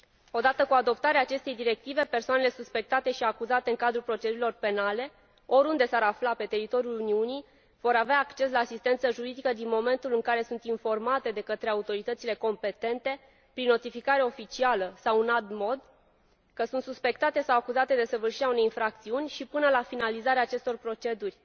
O dată cu adoptarea acestei directive, persoanele suspectate și acuzate în cadrul procedurilor penale, oriunde s ar afla pe teritoriul Uniunii, vor avea acces la asistență juridică din momentul în care sunt informate de către autoritățile competente, prin notificare oficială sau în alt mod, că sunt suspectate sau acuzate de săvârșirea unei infracțiuni și până la finalizarea acestor proceduri.